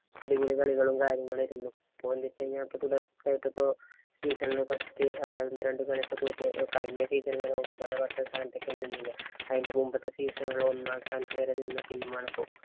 അടിപൊളി കളികളും, കാര്യങ്ങളും ആയിരുന്നു. ഇപ്പൊ എന്തെന്ന് വച്ച് കഴിഞ്ഞാല് ഇപ്പൊ തുടര്‍ച്ചയായിട്ടു ഇപ്പൊ season ഇല്‍ first അതായത് ഒന്നും രണ്ടും കളിയൊക്കെ തോറ്റ് കഴിഞ്ഞ season വരെ ഒമ്പത്, പത്ത് സ്ഥാനത്തേക്ക് നിന്നില്ലേ. അതിന്‍റെ മുമ്പൊക്കെ season ഇല്‍ ഒന്നാം സ്ഥാനത്ത് വരെ നിന്ന team ആണിപ്പോ.